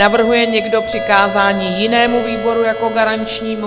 Navrhuje někdo přikázání jinému výboru jako garančnímu?